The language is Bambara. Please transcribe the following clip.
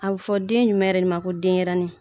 A bɛ fɔ den jumɛn yɛrɛ de ma ko denyɛrɛni?